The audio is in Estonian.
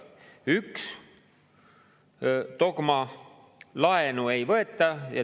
Üks dogma: laenu ei võeta.